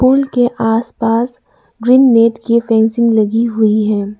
पुल के आसपास green net की फेंसिंग लगी हुई है।